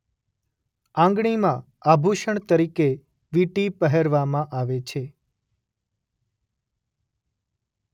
આંગળીમાં આભૂષણ તરીકે વીંટી પહેરવામાં આવે છે